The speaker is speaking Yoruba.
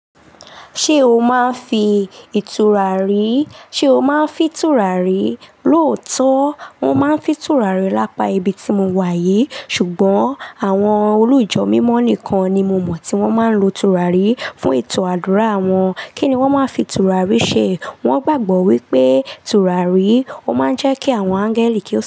Ṣé o máa ń fi ìturarí? Sé o máa ń fi ìturari? Lóòótọ́, mo máa ń fi ìtura rí lápá ibi tí mo wà yìí. Ṣùgbọ́n àwọn olùjọ́ mímọ́ nìkan ni mo mọ̀ tí wọ́n máa ń lo ìturarí fún ètò àdúrà wọn. Kí ni wọ́n máa ń fi ìtura rí ṣe? Wọ́n gbàgbọ́ wípé ìturarí ó máa ń jẹ́ kí àwọn áńgẹ́lì kí o.